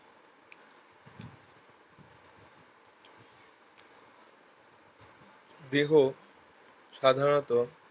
দেহ সাধারণত